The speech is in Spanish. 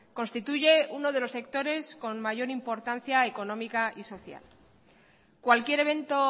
constituye uno de los sectores con mayor importancia económica y social cualquier evento